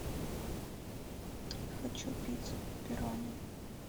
хочу пиццу пепперони